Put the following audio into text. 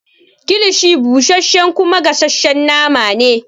Kilishi busashe kuma gasashen nama ne.